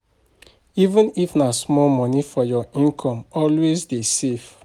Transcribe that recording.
even if na small money from your income, always dey save